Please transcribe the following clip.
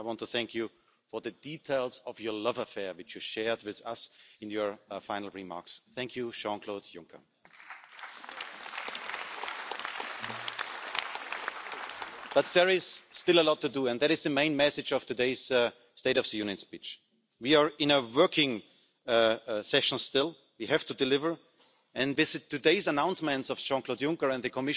It's now time to act. I ask the Romanian Government to stop the risks regarding the fight against corruption in Romania because they are harming the decision-making process towards Bulgaria